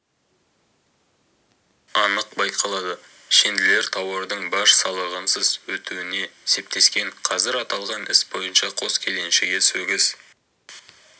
анық байқалады шенділер тауардың баж салығынсыз өтуіне септескен қазір аталған іс бойынша қос кеденшіге сөгіс